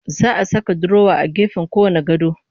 Za a saka durowa a gefen kowanne gado